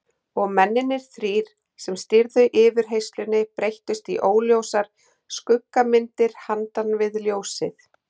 Og mennirnir þrír sem stýrðu yfirheyrslunni breyttust í óljósar skuggamyndir handan við ljósið.